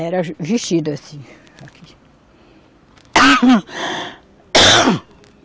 Era vestido assim.